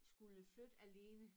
Skulle flytte alene